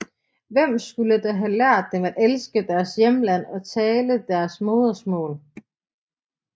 Hvem skulle der have lært dem at elske deres hjemland og tale deres modermål